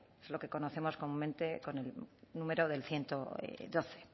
es lo que conocemos comúnmente con número del ciento doce